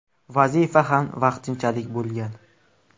Vazifa ham vaqtinchalik bo‘lgan.